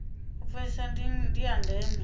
u pfesesa ndi ya ndeme